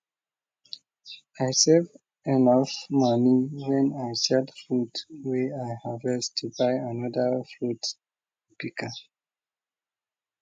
i save enof moni wen i sell fruit wey i harvest to buy anoda fruit pika